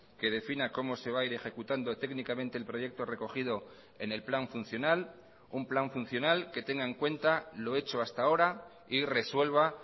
que defina como se va a ir ejecutando técnicamente el proyecto recogido en el plan funcional un plan funcional que tenga en cuenta lo hecho hasta ahora y resuelva